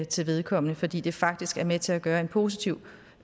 til vedkommende fordi det faktisk er med til at gøre en positiv